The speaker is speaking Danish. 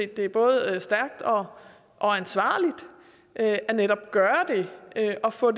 det både er stærkt og ansvarligt at gøre det og få